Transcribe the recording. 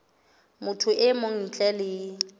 motho e mong ntle le